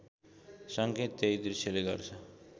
सङ्केत त्यही दृश्यले गर्छ